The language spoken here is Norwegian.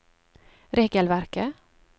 regelverket